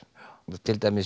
til dæmis